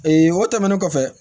o tɛmɛnen kɔfɛ